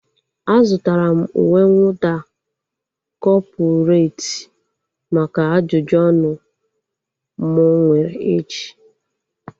A zụtara m uwe mwụda kọpụreti maka ajụjụ ọnụ mụ nwere echi